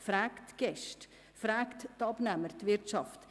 Sie fragt die Gäste, also die Wirtschaft.